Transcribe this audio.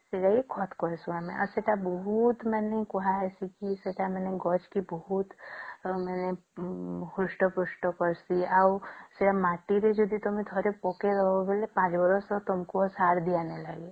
ସେତକୀ ଖତ କହିସେ ଆମେ ଆଉ ସେଟା ବହୁତ ହିଁ କୁହସେକ କି ସେଟା ଗଛ କେ ବହୁତ ମାନେ ହୃଷ୍ଟ ପୃଷ୍ଟ କରସେ ଆଉ ସେ ମାଟିରେ ଯଦି ଥରେ ପକେଇଦେବା ବେଳେ ୫ ବରଷ ତମକୁ ସାର ଦିଅ ନାଇଁ ଲାଗେ